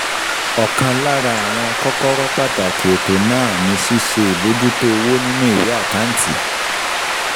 Ọ̀kan lára àwọn kọ́kọ́rọ́ pàtàkì ètò náà ni ṣíṣe ìbojútó owó nínú ìwé àkáǹtì.